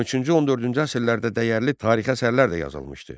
13-14-cü əsrlərdə dəyərli tarixi əsərlər də yazılmışdı.